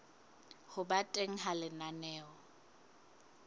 ho ba teng ha lenaneo